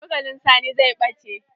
Cokalin Sani zai ɓace.